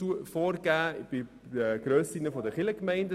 Darüber werden wir noch diskutieren können.